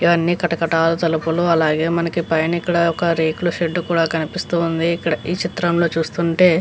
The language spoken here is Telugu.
ఇవన్నీ కటకటాల తలుపులు అలాగే మనకి పైన ఇక్కడ ఒక రేకుల షెడ్డు కూడా కనిపిస్తూ ఉంది ఈ చిత్రంలో చూస్తుంటే.